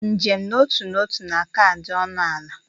Njem n'otu n'ọtu na-aka adị ọnụ ala.